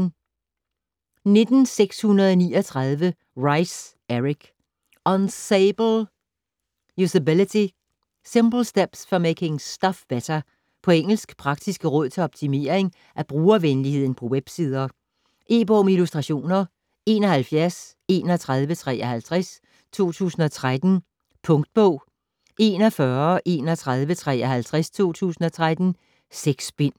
19.639 Reiss, Eric: Usable usability: simple steps for making stuff better På engelsk. Praktiske råd til at optimering af brugervenligheden på websider. E-bog med illustrationer 713153 2013. Punktbog 413153 2013. 6 bind.